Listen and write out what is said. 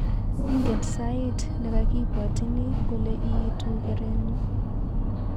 Ingen sait nekakibwotini kole itu kerenyu